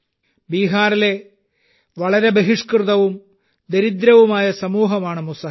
ബിഹാറിലെ വളരെ ബഹിഷ്കൃതവും ദരിദ്രവുമായ സമൂഹമാണ് മുസഹർ